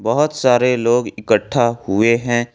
बहुत सारे लोग इकट्ठा हुए हैं।